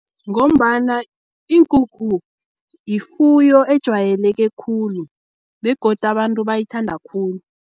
Ngombana iinkukhu yifuyo ejwayeleke khulu begodu abantu bayithanda khulu.